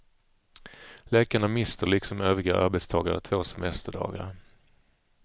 Läkarna mister, liksom övriga arbetstagare, två semesterdagar.